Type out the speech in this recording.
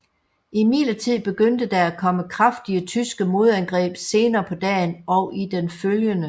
Imidlertid begyndte der at komme kraftige tyske modangreb senere på dagen og den følgende